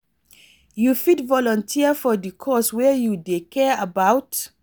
You fit volunteer for di cause wey you dey care about?